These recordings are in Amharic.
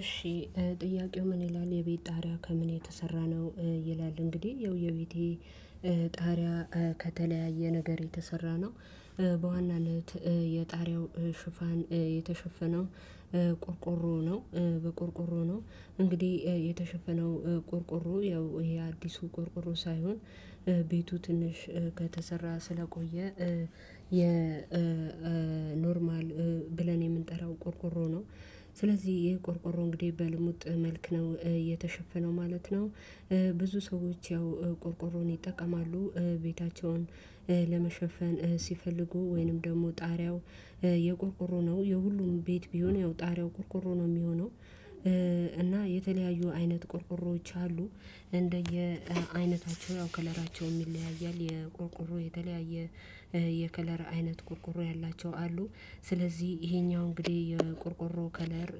እሺ ጥያቄው ምን ይላል የቤት ጣሪያ ከምን የተሰራ ነው? ይላል እንግዲህ ያው የቤቴ ጣሪያ ከተለያየ ነገር የተሰራ ነው። በዋናነት የጣሪያው ሽፋን የተሸፈነው ቆርቆሮ ነው በቆርቆሮ ነው እንግዲህ የተሸፈነው ቆርቆሮ ያው የአዲሱ ቆርቆሮ ሳይሆን ቤቱ ትንሽ ከተሰራ ስለቆየ የ የኖርማል ብለን የምንጠራው ቆርቆሮ ነው ስለዚህ ይሄ ቆርቆሮ እንግዲህ በልሙጥ መልክ ነው የተሸፈነው ማለት ነው። ብዙ ሰዎች ያው ቆርቆሮን ይጠቀማሉ ቤታቸውን ለመሸፈን ሲፈልጉ ወይንም ደግሞ ጣሪያው የቆርቆሮ ነው የሁሉም ቤት ቢሆን ያው ጣሪያው ቆርቆሮ ነው የሚሆነው እና የተለያዩ አይነት ቆርቆሮዎች አሉ። እንደየ አይነታቸው ያው ከለራቸውም ይለያያል የቆርቆሮ የተለያየ የከለራ አይነት ቆርቆሮ ያላቸው አሉ ስለዚህ ይሄኛው እንግዲህ የቆርቆሮው ከለር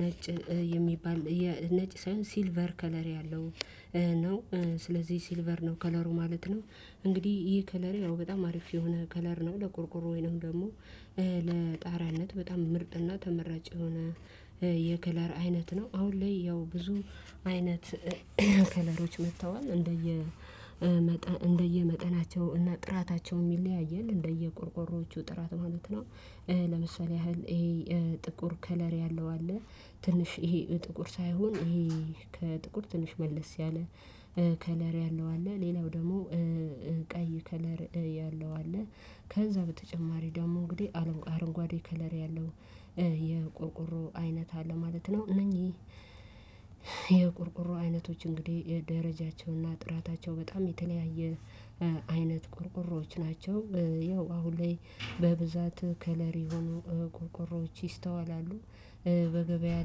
ነጭ የሚባል ነጭ ሳይሆን ሲልቨር ከለር ያለው ነው። ስለዚህ ሲልቨር ነው ከለሩ ማለት ነው። እንግዲህ ይህ ከለር ያው በጣም አሪፍ የሆነ ከለር ነው ለቆርቆሮ ወይንም ደግሞ ለጣራነት በጣም ምርጥና ተመራጭ የሆነ የከለር አይነት ነው። አሁን ላይ ያው ብዙ አይነት ከለሮች መጥተዋል እንደየ መጠ እንደየመጠናቸው እና ጥራታቸው ይለያያል እንደየቆርቆሮዎቹ ጥራት ማለት ነው። ለምሳሌ ያህል ይሄ ጥቁር ከለር ያለው አለ ትንሽ ይሄ ጥቁር ሳይሆን ይሄ ከጥቁር ትንሽ መለስ ያለ ከለር ያለው አለ ሌላው ደግሞ ቀይ ከለር ያለው አለ ከዛ በተጨማሪ ደግሞ እንግዲህ አለ አረንጓዴ ከለር ያለው የቆርቆሮ አይነት አለ ማለት ነው እነኚህ የቆርቆሮ አይነቶች እንግዲህ የደረጃቸውና ጥራታቸው በጣም የተለያየ አይነት ቆርቆሮዎች ናቸው። ያው አሁን ላይ በብዛት ከለር የሆኑ ቆርቆሮዎች ይስተዋላሉ። በገበያ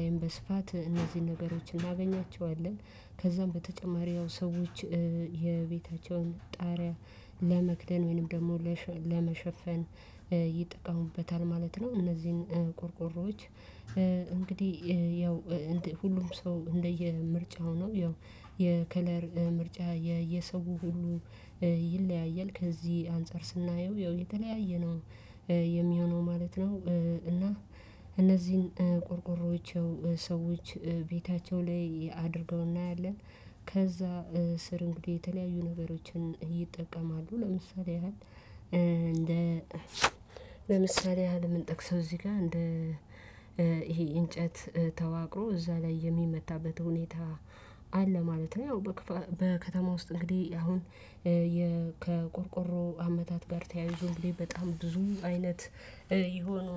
ላይም በስፋት እነዚህን ነገሮችን እናገኛቸዋለን ከዛም በተጨማሪ ያው ሰዎች የቤታቸውን ጣሪያ ለመክደን ወይንም ደግሞ ለሸለመሸፈን ይጠቀሙበታል ማለት ነው። እነዚህን ቆርቆሮዎች እንግዲህ ያው እንደ ሁሉም ሰው እንደየ ምርጫው ነው ያው የከለር ምርጫ የሰው ሁሉ ይለያያል ከዚህ አንፃር ስናየው ያው የተለያየ ነው የሚሆነው ማለት ነው። እና እነዚህን ቆርቆሮች ሰዎች ቤታቸው ላይ አድርገው እናያለን ከዛ ስር እንግዲህ የተለያዩ ነገሮችን ይጠቀማሉ ለምሳሌ ያህል ለምሳሌ ያህል የምንጠቅሰው እዚህ ጋር እንደ ይሄ እንጨት ተዋቅሮ እዛ ላይ የሚመታበት ሁኔታ አለ ማለት ነው። ያው በክፋ በከተማ ውስጥ እንግዲህ አሁን የከቆርቆሮ አመታት ጋር ተያይዞ እንግዲህ በጣም ብዙ አይነት የሆነ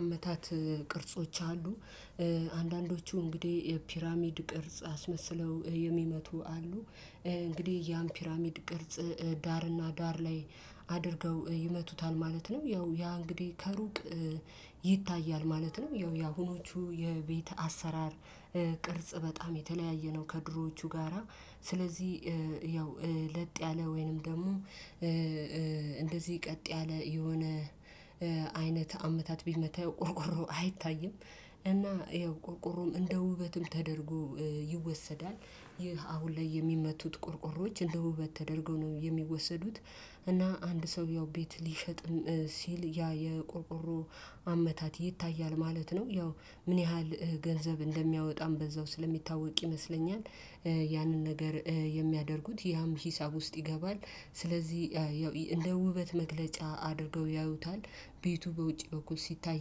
አመታት ቅርጾች አሉ አንዳንዶቹ እንግዲህ የፒራሚድ ቅርጽ አስመስለው የሚመቱ አሉ እንግዲህ ያን ፒራሚድ ቅርጽ ዳርና ዳር ላይ አድርገው ይመቱታል ማለት ነው። ያው ያ እንግዲህ ከሩቅ ይታያል ማለት ነው ያው የአሁኖቹ የቤት አሰራር ቅርጽ በጣም የተለያየ ነው። ከድሮዎቹ ጋራ ስለዚህ ያው ለጥ ያለ ወይንም ደግሞ እንደዚህ ቀጥ ያለ የሆነ አይነት አመታት ቢመታ ያው ቆርቆሮው አይታይም እና ያው ቆርቆሮም እንደ ውበትም ተደርጎ ይወሰዳል። ይህ አሁን ላይ የሚመቱት ቆርቆሮች እንደ ውበት ተደርገው ነው የሚወሰዱት። እና አንድ ሰው ያው ቤት ሊሸጥም ሲል ያ የቆርቆሮ አመታት ይታያል ማለት ነው። ያው ምን ያህል ገንዘብ እንደሚያወጣም በዛው ስለሚታወቅ ይመስለኛል ያንን ነገር የሚያደርጉት ያም ሂሳብ ውስጥ ይገባል። ስለዚህ ያው እንደ ውበት መግለጫ አድርገው ያዩታል ቤቱ በውጪ በኩል ሲታይ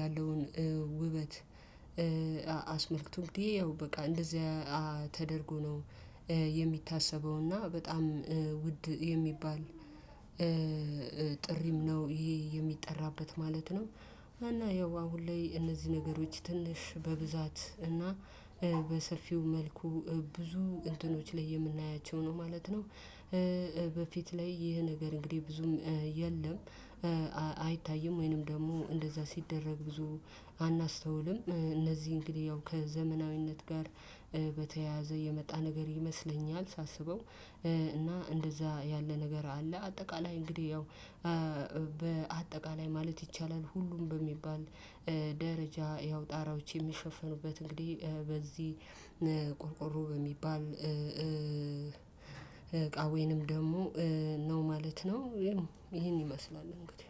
ያለውን ውበት አስመልክቶ እንግዲህ ያው በቃ እንደዚህ ተደርጎ ነው። የሚታሰበው እና በጣም ውድ የሚባል ጥሪም ነው ይሄ የሚጠራበት ማለት ነው። እና ያው አሁን ላይ እነዚህ ነገሮች ትንሽ በብዛት እና በሰፊው መልኩ ብዙ እንትኖች ላይ የምናያቸው ነው ማለት ነው። በፊት ላይ ይህ ነገር እንግዲህ ብዙም የለም። አይታይም ወይንም ደግሞ እንደዛ ሲደረግ ብዙ አናስተውልም። እነዚህ እንግዲህ ያው ከዘመናዊነት ጋር በተያያዘ የመጣ ነገር ይመስለኛል። ሳስበው እና እንደዛ ያለ ነገር አለ። አጠቃላይ እንግዲህ ያው በአጠቃላይ ማለት ይቻላል ሁሉም በሚባል ደረጃ ያው ጣራዎች የሚሸፈኑበት እንግዲህ በዚህ ቆርቆሮ በሚባል እቃ ወይንም ደግሞ ነው ማለት ነው ያው ይሄን ይመስላል እንግዲህ